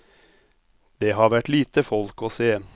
Det har vært lite folk å se.